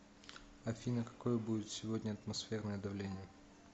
афина какое будет сегодня атмосферное давление